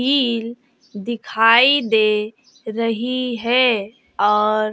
कील दिखाई दे रही है और--